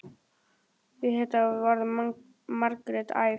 Við þetta varð Margrét æf.